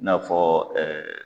I n'a fɔ